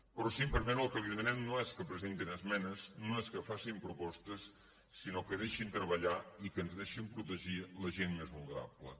però si em permet el que li demanem no és que presentin esmenes no és que facin propostes sinó que deixin treballar i que ens deixin protegir la gent més vulnerable